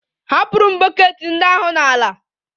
Ahapụrụ m bọket ndị ahụ n'ala